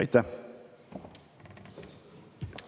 Aitäh!